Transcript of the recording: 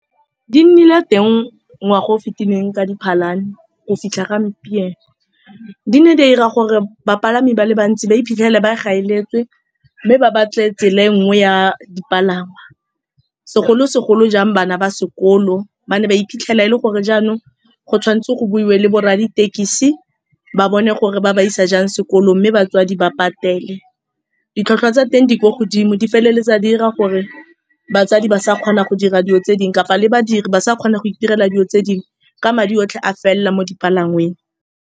Di nnile teng ngwaga o o fetileng ka Diphalane go fitlha gompieno. Di ne di a 'ira gore bapalami ba le bantsi ba iphitlhele ba gaeletswe mme ba batle tsela e nngwe ya dipalangwa, segolo-segolo jang bana ba sekolo. Ba ne ba iphitlhela e le gore jaanong go tshwanetswe go buiwe le borra ditekesi ba bone, gore ba ba isa jang sekolong, mme batswadi ba patele ditlhwatlhwa tsa teng, di kwa godimo di feleletsa di 'ira gore batsadi ba sa kgona go dira dilo tse dingwe, le badiri ba sa kgone go itirela dilo tse dingwe. Ka madi otlhe a felela mo dipalangweng.